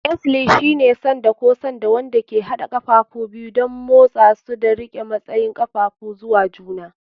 Axle shine sanda ko sanda wanda ke haɗa ƙafafu biyu don motsa su da riƙe matsayin ƙafafun zuwa juna.